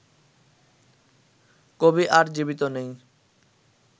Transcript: কবি আর জীবিত নেই